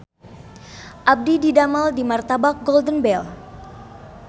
Abdi didamel di Martabak Golden Bell